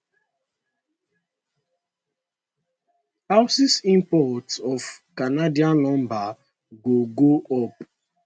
houses imports of canadian lumber go go up